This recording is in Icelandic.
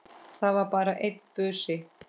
Það var bara einn busi!